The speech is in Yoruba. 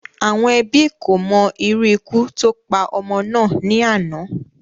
Àwọn Ẹbí kò mo irú ikú tó pa ọmọ náà ní àná